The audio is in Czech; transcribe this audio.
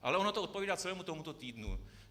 Ale ono to odpovídá celému tomuto týdnu.